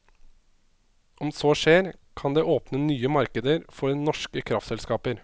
Om så skjer, kan det åpne nye markeder for norske kraftselskaper.